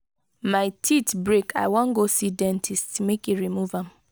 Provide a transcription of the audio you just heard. my teeth break i wan go see dentist make e remove am.